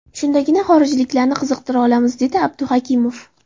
Shundagina xorijliklarni qiziqtira olamiz”, dedi A Abduhakimov.